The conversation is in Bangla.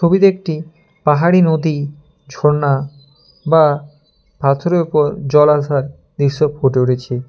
ছবিতে একটি পাহা পাহাড়ী নদী ঝরনা বা পাথরের উপর জল আসার দৃশ্য ফুটে উঠেছে।